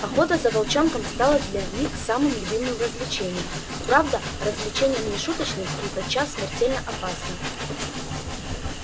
охота за волчонком стала для них самым любимым развлечением правда развлечением не шуточным и тотчас смертельно опасным